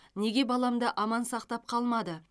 неге баламды аман сақтап қалмады